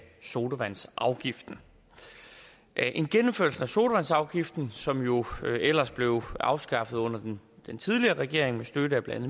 sodavandsafgiften en genindførelse af sodavandsafgiften som jo ellers blev afskaffet under den tidligere regering med støtte af blandt